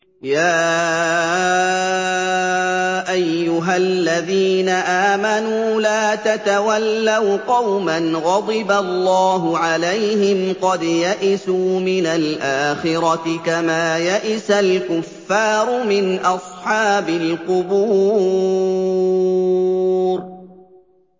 يَا أَيُّهَا الَّذِينَ آمَنُوا لَا تَتَوَلَّوْا قَوْمًا غَضِبَ اللَّهُ عَلَيْهِمْ قَدْ يَئِسُوا مِنَ الْآخِرَةِ كَمَا يَئِسَ الْكُفَّارُ مِنْ أَصْحَابِ الْقُبُورِ